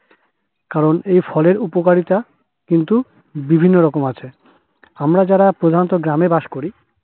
কারণ এ ফলের উপকারিতা কিন্তু বিভিন্ন রকম আছে। আমরা যারা প্রধানতঃ গ্রামে বাস করি